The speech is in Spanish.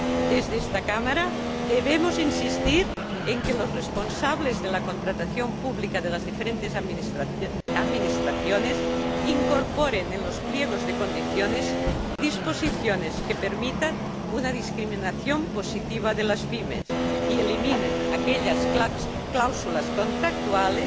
Desde esta Cámara debemos insistir en que los responsables de la contratación pública de las diferentes administraciones incorporen en los pliegos de condiciones disposiciones que permitan una discriminación positiva de las PYME y eliminen aquellas cláusulas contractuales